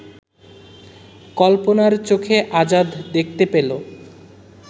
কল্পনার চোখে আজাদ দেখতে পেল